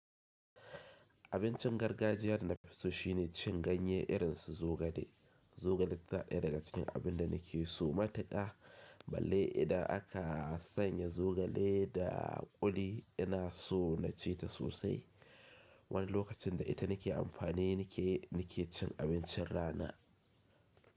Abincin gargajiyar nafi so shine cin ganye irin su zogale. Zogale tanaɗaya daga cikin abin da nake so matuƙa. Balle idan aka sanya zogale da ƙuli ina so na ci ta sosai. Wani lokacin da ita nake amfani nake nake cin abincin rana.